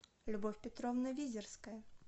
любовь петровна визерская